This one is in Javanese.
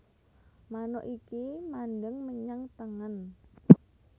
Manuk iki mandheng menyang tengen